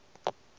ka ge e na le